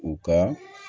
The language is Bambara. U ka